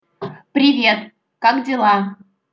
привет как дела